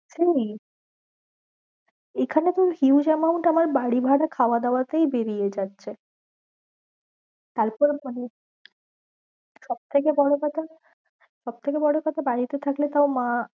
সেই এইখানে তো huge amount আমার বাড়ি ভাড়া খাওয়া দাওয়া তেই বেরিয়ে যাচ্ছে তারপর মানে সব থেকে বড় কথা সব থেকে বড় কথা বাড়িতে থাকলে তাও মা